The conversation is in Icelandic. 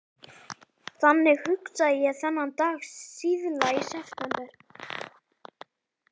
Þannig hugsaði ég þennan dag síðla í september.